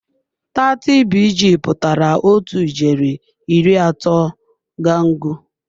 30BG pụtara otu ijeri iri atọ gangụ.